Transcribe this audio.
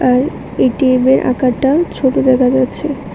আর এটিএমের আকারটা ছোটো দেখা যাচ্ছে।